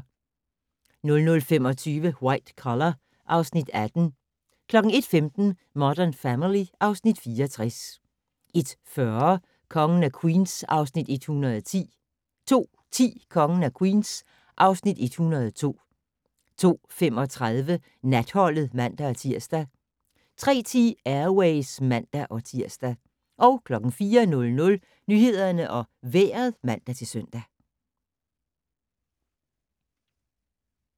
00:25: White Collar (Afs. 18) 01:15: Modern Family (Afs. 64) 01:40: Kongen af Queens (Afs. 101) 02:10: Kongen af Queens (Afs. 102) 02:35: Natholdet (man-tir) 03:10: Air Ways (man-tir) 04:00: Nyhederne og Vejret (man-søn)